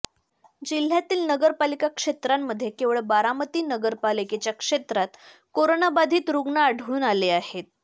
जिल्ह्यातील नगरपालिका क्षेत्रांमध्ये केवळ बारामती नगरपालिकेच्या क्षेत्रात कोरोनाबाधित रुग्ण आढळून आले आहेत